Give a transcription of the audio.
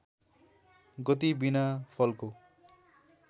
गति बिना फलको